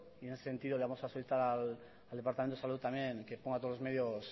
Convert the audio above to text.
y en ese sentido le vamos a solicitar al departamento de salud también que ponga todos los medios